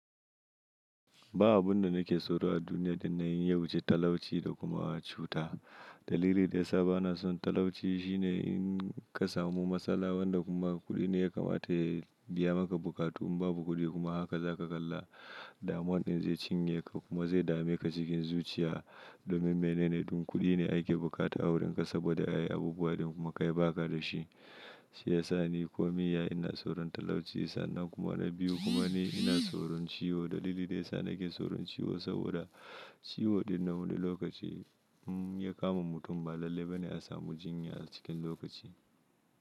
Ba abun da nake tsoro a duniya da na yi, ya wuce talauci da kuma cuta. Dalili da ya sa ba na son talauci shine in ka samu matsala wanda kuma kuɗi ne ya kamata ya biya maka buƙatu. In babu kuɗi kuma haka za ka kalla damon ɗin zai cinye ka kuma zai dame ka cikin zuciya domin menene ɗin kuɗi ne ake buƙata a wurin ka saboda a yi abubuwa da kuma ka yi baka da shi. Shi ya sa ni komi ya ina tsoron talauci sannan kuma na biyu kuma ni ina tsoron ciwo. Dalili da ya sa nake tsoron ciwo saboda ciwo ɗin na wani lokaci in ya kama mutum ba lalle ba ne a samu jinya a cikin lokaci.